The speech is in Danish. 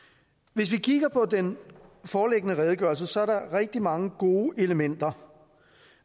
hvis vi kigger på den foreliggende redegørelse ser der er rigtig mange gode elementer